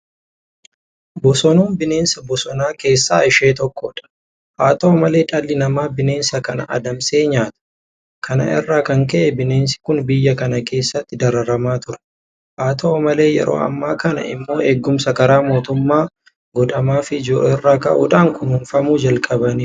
Bosonuun bineensa bosonaa keessaa ishee tokkodha. Haa ta'u malee dhalli namaa bineensa kana adamsee nyaata. Kana irraa kan ka'e bineensi kun biyya kana keessatti dararamaa ture. Haata'u malee yeroo ammaa kana immoo eegumsa karaa mootummaa godhamaafii jiru irraa ka'uudhaan kunuunfamuu jalqabaniiru.